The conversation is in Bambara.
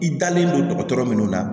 I dalen don dɔgɔtɔrɔ minnu na